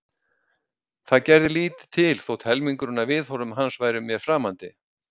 Það gerði lítið til þótt helmingurinn af viðhorfum hans væru mér framandi.